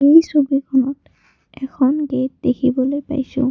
এই ছবিখনত এখন গেট দেখিবলৈ পাইছোঁ।